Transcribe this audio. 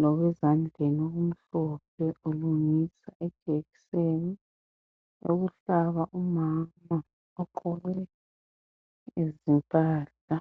lokwezandleni okumhlophe ulungisa ijekiseni oyokuhlaba umama ogqoke izimpahla.